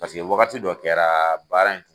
Paseke wagati dɔ kɛra baara in